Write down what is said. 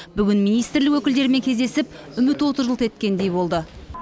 бүгін министрлік өкілдерімен кездесіп үміт оты жылт еткендей болды